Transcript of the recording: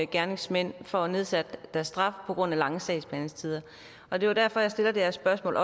gerningsmænd får nedsat deres straf på grund af lange sagsbehandlingstider og det er derfor jeg stiller det her spørgsmål